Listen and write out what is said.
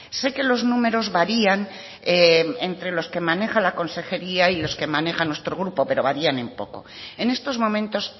sé que los números varían entre los que maneja la consejería y los que maneja nuestro grupo pero varían en poco en estos momentos